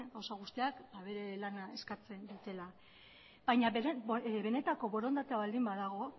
gauza guztiak bere lana eskatzen dutela baina benetako borondatea baldin badago